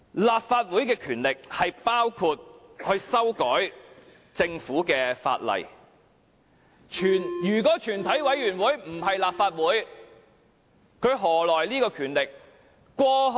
立法會的權力包括修改政府的法例，如果全體委員會不是立法會，它何來權力？